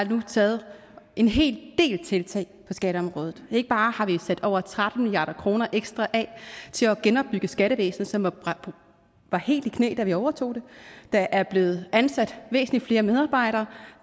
taget en hel del tiltag på skatteområdet ikke bare har vi sat over tretten milliard kroner ekstra af til at genopbygge skattevæsenet som var helt i knæ da vi overtog det der er blevet ansat væsentlig flere medarbejdere